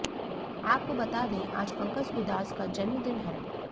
आपको बता दें आज पंकज उधास का जन्मदिन है